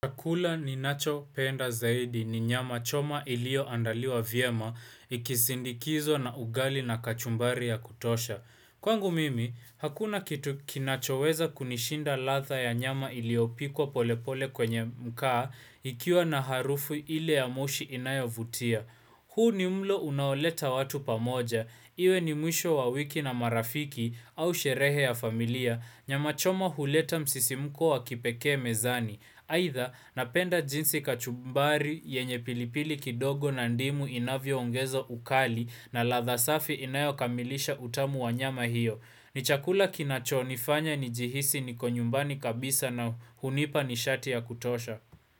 Chakula ninacho penda zaidi ni nyama choma ilioandaliwa vyema, ikisindikizwa na ugali na kachumbari ya kutosha. Kwangu mimi, hakuna kitu kinachoweza kunishinda ladha ya nyama iliopikwa polepole kwenye makaa ikiwa na harufu ile ya moshi inayavutia. Huu ni mlo unaoleta watu pamoja, iwe ni mwisho wa wiki na marafiki au sherehe ya familia, Nyama choma huleta msisimuko wa kipekee mezani aitha napenda jinsi kachumbari yenye pilipili kidogo na ndimu inavyoongeza ukali na ladha safi inayokamilisha utamu wa nyama hiyo ni chakula kinachonifanya nijihisi niko nyumbani kabisa na hunipa nishati ya kutosha.